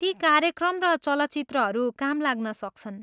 ती कार्यक्र र चलचित्रहरू काम लाग्न सक्छन्।